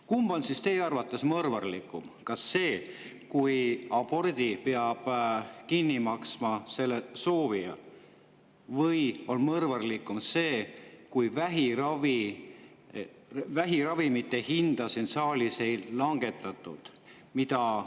Kumb on teie arvates mõrvarlikum, kas see, kui abordi peab kinni maksma selle soovija, või on mõrvarlikum see, et vähiravimite hinda siin saalis ei langetatud?